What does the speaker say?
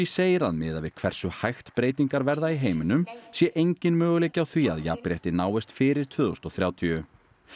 segir að miðað við hversu hægt breytingar verða í heiminum sé enginn möguleiki á því að jafnrétti náist fyrir tvö þúsund og þrjátíu